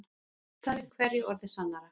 Það er hverju orði sannara.